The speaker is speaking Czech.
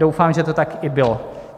Doufám, že to tak i bylo.